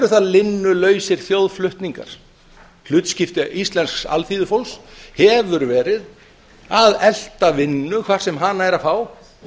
það linnulausir þjóðflutningar hlutskipti íslensks alþýðufólks hefur verið að elta vinnu hvar sem hana er að fá